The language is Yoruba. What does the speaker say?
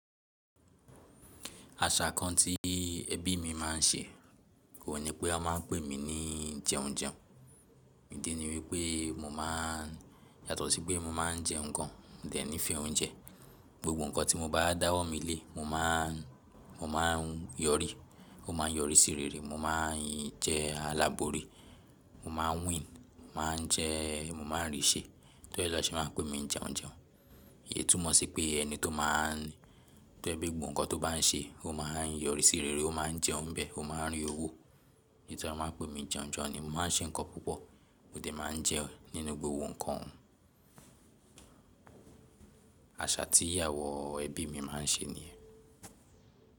Àṣà kan tí ẹbí mi máà ń ṣe oun ní pé wọ́n máa ń pè mí ní jẹun jẹun, ìdí ni wípé mo máa ń yàtọ̀ sí pé mo máa ń jẹun gan mo dẹ̀ ńí fẹ oúnjẹ. Gbogbo nǹkan tí mo bá dáwọ́ mi lé, mo máa ń yọrí, ó máa ń yọrí sí rere, mo máa ń jẹ́ alábori, mo máa ń win, mo máa ń jẹ́, mo máa ń rì ṣe. Ní tori ẹ na ṣé máa n pè mi ń jẹun jẹun. Èyí túmọ̀ sí pé ẹni tó máa ń, tó jẹ pẹ́ gbogbo nǹkan tó bá n ṣe, ó máa ń yọrí sí rere, ó máa ń jẹun bẹ̀, ó máa ń rí owó. Nítorí ẹ wọ́n máa ń pè mí ń jẹun jẹun ni mó máa ń ṣe nǹkan púpọ̀ mo dẹ̀ máa ń jẹun nínú gbogbo ohun kan. Àṣà tí àwọn ẹbí mi máa ń ṣe nìyẹn.